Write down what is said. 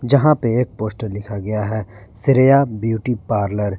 जहां पे एक पोस्टर लिखा गया है श्रेया ब्यूटी पार्लर --